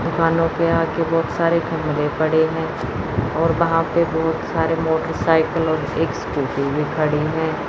दुकानों के आगे बहुत सारे थमले पड़े हैं और वहां पे बहुत सारे मोटरसाइकल और एक स्कूटी भी खड़ी हैं।